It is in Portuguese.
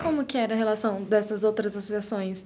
Como que era a relação dessas outras associações?